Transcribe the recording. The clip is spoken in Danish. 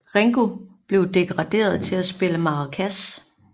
Ringo blev degraderet til at spille maracas